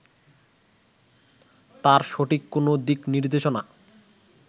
তার সঠিক কোনো দিক নির্দেশনা